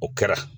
O kɛra